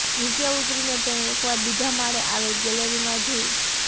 નીચે ઉતરીને તેણે એકવાર બીજા માળે આવેલ ગેલેરીમાં જોયું